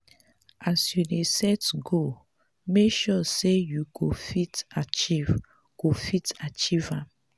as you dey set goal make sure sey you go fit achieve go fit achieve am.